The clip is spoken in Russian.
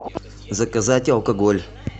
заказать алкоголь